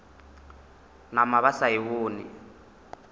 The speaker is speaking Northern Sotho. nama ba sa e bone